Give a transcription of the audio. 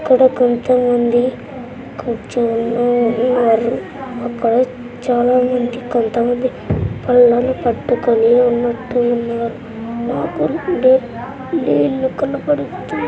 ఆడ కొంతమంది కూర్చుని ఉన్నారు. అక్కడ చాలామంది కొంత మంది పళ్ళెం పట్టుకొని ఉన్నట్టు ఉన్నారు. నీళ్లు --కనపడి.